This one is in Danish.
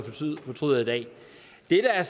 det er